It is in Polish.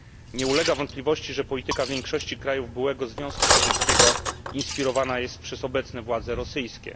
Nie ulega wątpliwości, że polityka większości krajów byłego Związku Sowieckiego inspirowana jest przez obecne władze rosyjskie.